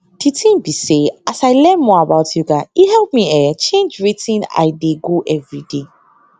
di thing be say as i learn more about yoga e help me[um]change wetin i dey go everyday